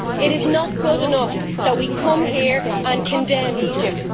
It is not good enough that we come here and condemn Egypt.